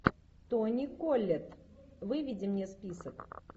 тони коллетт выведи мне список